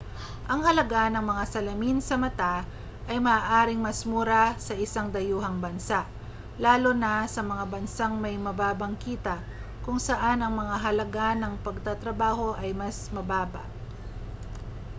ang halaga ng mga salamin sa mata ay maaaring mas mura sa isang dayuhang bansa lalo na sa mga bansang may mababang kita kung saan ang mga halaga ng pagtatrabaho ay mas mababa